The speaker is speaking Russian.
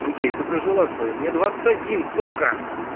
окей ты прожила своё мне двадцать один сука